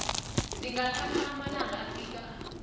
zingathatha amalanga afika